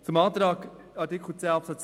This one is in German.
Beim Antrag zu Artikel 10 Absatz 2